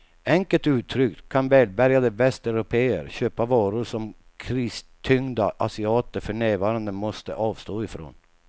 Enkelt uttryckt kan välbärgade västeuropéer köpa varor som kristyngda asiater för närvarande måste avstå ifrån.